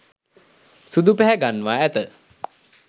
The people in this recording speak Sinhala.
සුදු පැහැගන්වා ඇත.